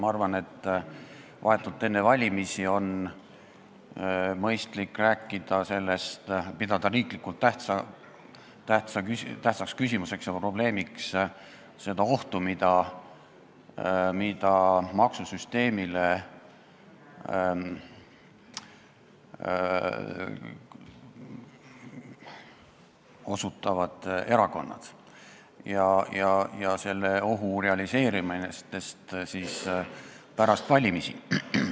Ma arvan, et vahetult enne valimisi on mõistlik pidada riiklikult tähtsaks küsimuseks ja probleemiks seda ohtu, mida maksusüsteemile kujutavad endast erakonnad, ja selle ohu realiseerumist pärast valimisi.